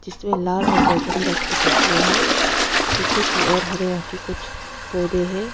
जिसमें लाल और बैगनी रंग की पत्तियां हैं पीछे की ओर हरे रंग के कुछ पौधे है।